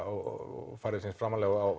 og færði sig framarlega á